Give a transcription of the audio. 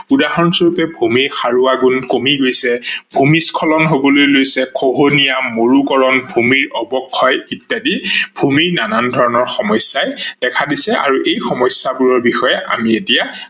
উদাহৰন স্বৰূপে ভূমিৰ সাৰোৱা গুন কমি গৈছে, ভূমিস্খলন হবলৈ লৈছে, খহনীয়া, মৰুকৰন, ভূমিৰ অৱক্ষয় ইত্যাদি ভূমিৰ নানান ধৰনৰ সমস্যাই দেখা দিছে আৰু এই সমস্যা বোৰৰ বিষয়ে আমি এতিয়া